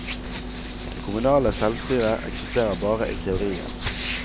Det kommunale selvstyret eksisterer bare i teorien.